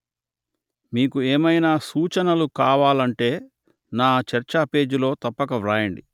మీకు ఏమైనా సూచనలు కావాలంటే నా చర్చాపేజీలో తప్పక వ్రాయండి